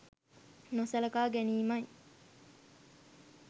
නොසලකා ගැනීමයි.